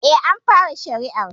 Eh, an fara shari'ar